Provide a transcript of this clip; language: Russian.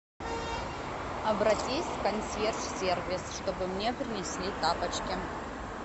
обратись в консьерж сервис чтобы мне принесли тапочки